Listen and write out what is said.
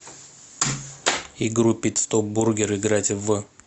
игру пит стоп бургер играть в